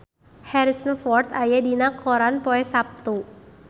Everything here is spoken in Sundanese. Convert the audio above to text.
Harrison Ford aya dina koran poe Saptu